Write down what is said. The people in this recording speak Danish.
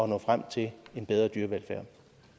nå frem til en bedre dyrevelfærd